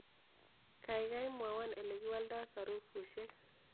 Gaigai mwowon olekiwoldo sarufusiek